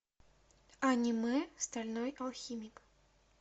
аниме стальной алхимик